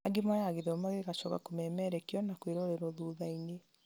angĩ moyaga gĩthomo gĩgacoka kũmemerekio na kwĩrorerwo thuthainĩ